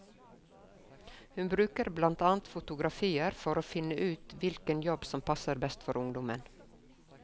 Hun bruker blant annet fotografier for å vinne ut hvilken jobb som passer best for ungdommen.